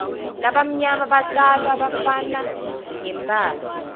labamnyama batalwa bafana ngembala